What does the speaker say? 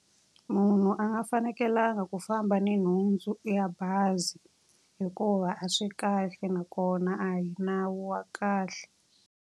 Munhu a nga fanekelanga ku famba ni nhundzu ya bazi hikuva a swi kahle, nakona a hi nawu wa kahle.